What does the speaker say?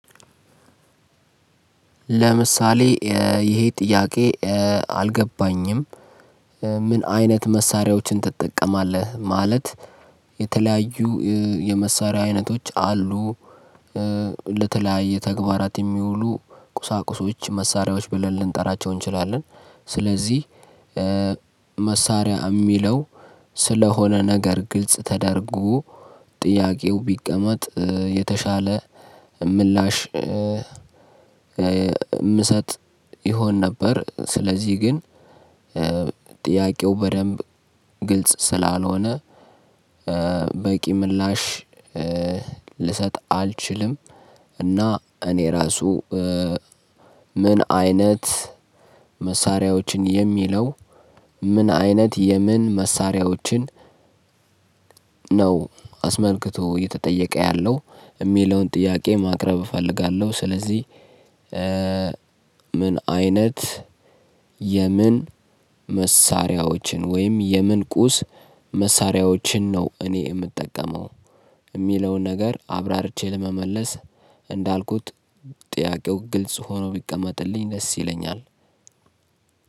ለምሳሌ ይሄ ጥያቄ አልገባኝም። ምን አይነት መሳሪያዎችን ትጠቀማለህ? ማለት የተለያዩ የመሳሪያ አይነቶች አሉ። ለተለያየ ተግባራት የሚውሉ ቁሳቁሶች መሳሪያዎች ብለን ልንጠራቸው እንችላለን። ስለዚህ መሳሪያ የሚለው ስለሆነ ነገር ግልጽ ተደርጎ ጥያቄው ቢቀመጥ የተሻለ ምላሽ ምሰጥ ይሆን ነበር። ስለዚህ ግን ጥያቀው በደንብ ግልጽ ስላልሆነ በቂ ምላሽ ልሰጥ አልችልም። እና እኔ ራሱ ምን አይነት መሳሪያዎችን የሚለው ምን አይነት የምን መሳሪያዎችን ነው አስመልክቶ እየተጠየቀ ያለው? የሚለውን ጥያቄ ማቅረብ እፈልጋለሁ። ስለዚህ ምን አይነት የምን መሳሪያዎችን ወይም የምን ቁስ መሳሪያዎችን ነው እኔ የምጠቀመው? የሚለውን ነገር አብራርቼ ለመመለስ እንዳልኩት ጥያቀው ግልጽ ሆኖ ብቀመጥልኝ ደስ ይለኛል።